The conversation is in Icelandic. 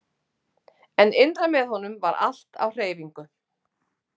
En innra með honum var allt á hreyfingu.